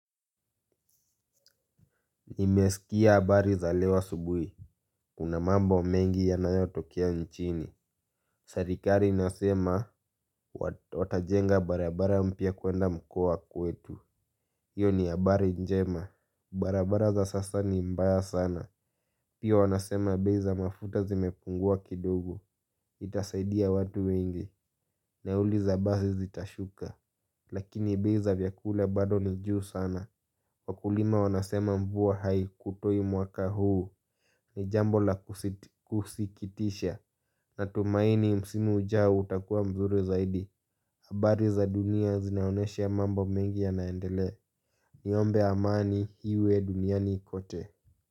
Nimesikia habari za leo asubuhi, kuna mambo mengi yanayotokea nchini. Serikali inasema, watajenga barabara mpya kuenda mkoa wa kwetu. Iyo ni habari njema, barabara za sasa ni mbaya sana. Pia wanasema bei za mafuta zimepungua kidogo, itasaidia watu wengi. Nauli za basi zitashuka. Lakini bei za vyakula bado ni juu sana. Wakulima wanasema mvua haikutoi mwaka huu. Ni jambo la kusikitisha. Natumaini msimu ujao utakuwa mzuri zaidi habari za dunia zinaonesha mambo mengi yanaendelea. Niombe amani iwe duniani kote.